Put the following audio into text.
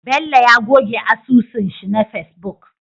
Bello ya goge asusun shi na facebook